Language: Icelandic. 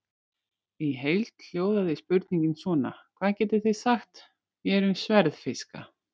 Í heild hljóðaði spurningin svona: Hvað getið þið sagt mér um sverðfiska?